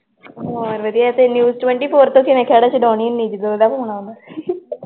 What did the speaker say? news twenty ਤੋਂ ਕਿਵੇਂ ਖੇੜਾ ਸ਼ਡੋਨੀ ਹੁਨੀ ਏ ਜਦੋਂ ਉਦਾ ਫੋਨ ਆਉਂਦਾ ਅਸ਼ਯਾ ਦੱਸੀ ਤਾਂ ਜਾਨੀ ਆ ਓ ਵੀ ਬਿਜ਼ੀ ਆ